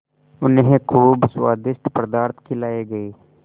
उन्हें खूब स्वादिष्ट पदार्थ खिलाये गये